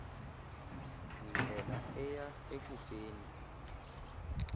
ndlela eya ekufeni